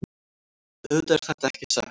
Auðvitað er þetta ekki sett